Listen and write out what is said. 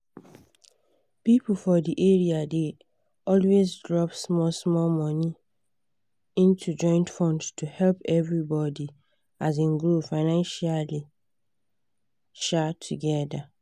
people for the area dey always drop small small money into joint fund to help everybody um grow financially um together.